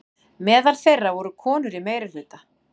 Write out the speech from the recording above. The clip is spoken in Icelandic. Meðal þeirra voru konur í meirihluta.